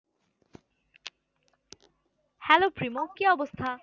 hello প্রিমু কি অবস্থা?